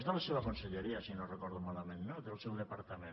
és de la seva conselleria si no ho recordo malament no del seu departament